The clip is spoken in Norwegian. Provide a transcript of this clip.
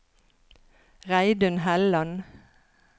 Reidun Helland